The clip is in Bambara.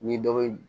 Ni dɔ bɛ ye